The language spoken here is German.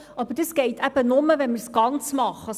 Das geht nur, wenn wir es ganz machen.